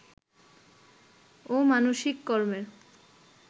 ও মানসিক কর্মের